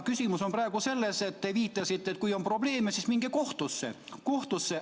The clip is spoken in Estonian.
Küsimus on praegu selles, et te viitasite, et kui on probleeme, siis minge kohtusse.